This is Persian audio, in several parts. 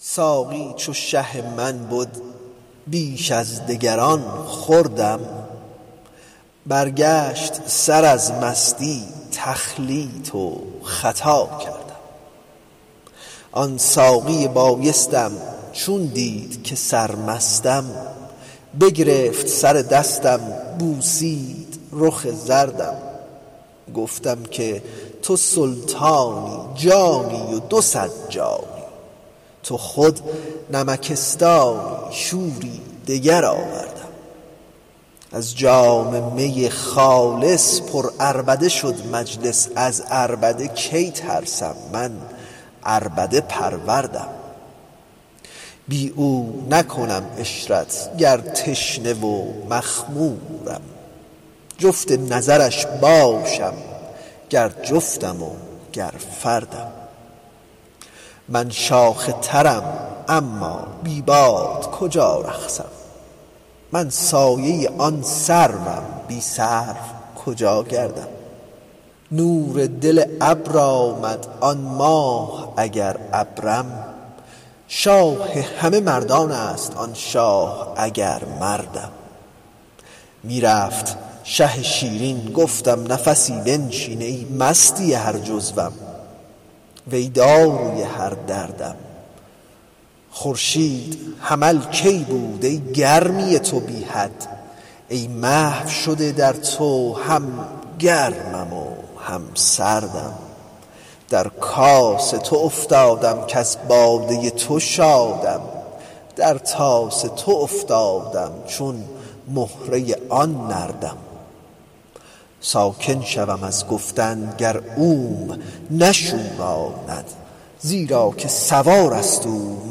ساقی چو شه من بد بیش از دگران خوردم برگشت سر از مستی تخلیط و خطا کردم آن ساقی بایستم چون دید که سرمستم بگرفت سر دستم بوسید رخ زردم گفتم که تو سلطانی جانی و دو صد جانی تو خود نمکستانی شوری دگر آوردم از جام می خالص پرعربده شد مجلس از عربده کی ترسم من عربده پروردم بی او نکنم عشرت گر تشنه و مخمورم جفت نظرش باشم گر جفتم وگر فردم من شاخ ترم اما بی باد کجا رقصم من سایه آن سروم بی سرو کجا گردم نور دل ابر آمد آن ماه اگر ابرم شاه همه مردان است آن شاه اگر مردم می رفت شه شیرین گفتم نفسی بنشین ای مستی هر جزوم ای داروی هر دردم خورشید حمل که بود ای گرمی تو بی حد ای محو شده در تو هم گرمم و هم سردم در کاس تو افتادم کز باده تو شادم در طاس تو افتادم چون مهره آن نردم ساکن شوم از گفتن گر اوم نشوراند زیرا که سوار است او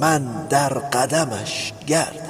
من در قدمش گردم